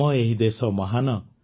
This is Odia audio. ଆମ ଏହି ଦେଶ ମହାନ